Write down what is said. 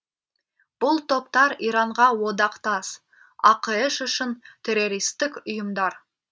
бұл топтар иранға одақтас ақш үшін террористтік ұйымдар